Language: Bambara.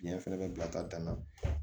Biɲɛ fɛnɛ bɛ bila ka dan na